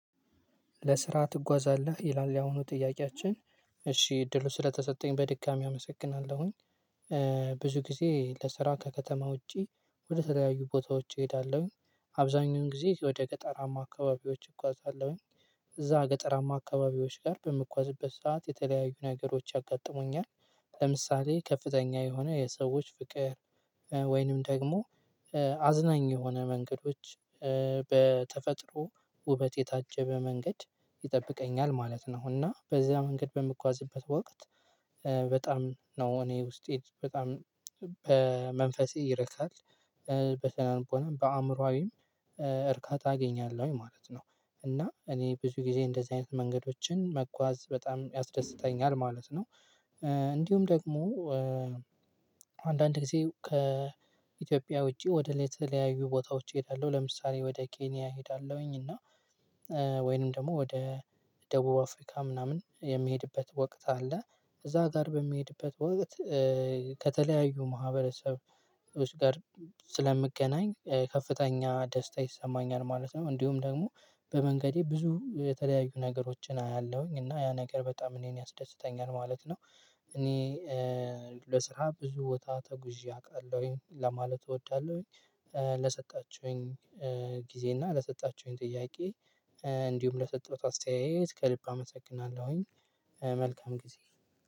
ለስራ ትጓዛለህ ይላል ያሁኑ ጥያቄያችን? እሺ እድሉ ስለተሰጠኝ በድጋሚ አመሰግናለሁኝ። ብዙ ጊዜ ለስራ ከከተማ ውጪ ወደ ተለያዩ ቦታዎች እሄዳለሁኝ አብዛኛውን ጊዜ ወደ ገጠራማ አካባቢዎች እጕዛለሁኝ። እዛ ገጠራማ አካባቢዎች ጋር በምጕዝበት ሰዓት የተለያዩ ነገሮች ያጋጥሙኛል ለምሳሌ ከፍተኛ የሆነ የሰዎች ፍቅር ወይንም ደግሞ አዝናኝ የሆነ መንገዶች በተፈጥሮ ውበት የታጀበ መንገድ ይጠብቀኛል ማለት ነው። እና በዚህ መንገድ በምጓዝበት ወቅት በጣም ነው እኔ ውስጤ በጣም በመንፈሴ ይረካል በስነቦናም በአእምሮአዊም እርካታ አገኛለሁኝ ማለት ነው። እና እኔ ብዙ ጊዜ እንደዚህ አይነት መንገዶችን መጓዝ በጣም ያስደስተኛል ማለት ነው። እንዲሁም ደግሞ አንዳንድ ጊዜ ከኢትዮጵያ ውጪ ወደ ሌላ ተለያዩ ቦታዎች እሄዳለሁ ለምሳሌ ወደ ኬንያ እሄዳለሁኝ እና ወይንም ደግሞ ወደ ደቡብ አፍሪካ ምናምን የሚሄድበት ወቅት አለ እዛ ጋር በሚሄድበት ወቅት ከተለያዩ ማህበረሰብ ጋር ስለምገናኝ ከፍተኛ ደስታ ይሰማኛል ማለት ነው። እንደሁም ደግሞ በመንገዴ ብዙ የተለያዩ ነገሮችን አያለሁኝ እና ያ ነገር በጣም እኔን ያስደስተኛል ማለት ነው። እኔ ለስራ ብዙ ቦታ ተጉዤ አውቃለሁኝ ለማለት እወዳለሁኝ ለሰጣችሁኝ ጊዜ እና ለሰጣችሁኝ ጥያቄ እንዲሁም ለሰጠሁት አስተያየት ከልብ አመሰግናለሁኝ። መልካም ጊዜ